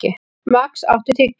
Max, áttu tyggjó?